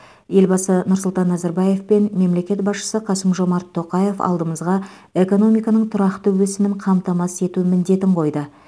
елбасы нұрсұлтан назарбаев пен мемлекет басшысы қасым жомарт тоқаев алдымызға экономиканың тұрақты өсімін қамтамасыз ету міндетін қойды